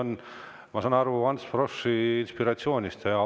See tulenes, ma saan aru, Ants Froschi inspiratsioonist.